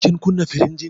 Kin kunna firinjin?